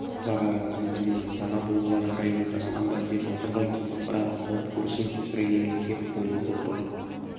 барарың кім білемін пана болуға жараймын жасқанба деп отыр ғой бірақ алып көрсін іргемнен кеп қойны-қолтығы